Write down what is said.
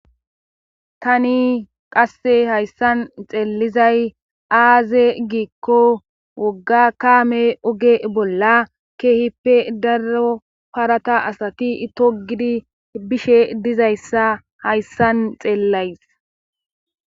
tani qasse hayssan xeellizay aaze giikko wogga kaame oge bolla keehippe daro parata asati itogidi bishe dizayssa hayssan xeellays